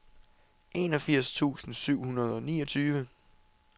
enogfirs tusind syv hundrede og niogtyve